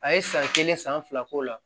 A ye san kelen san fila k'o la